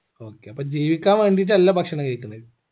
okay അപ്പൊ ജീവിക്കാൻ വേണ്ടീട്ടല്ല ഭക്ഷണം കഴിക്കുന്നേ